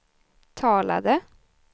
talade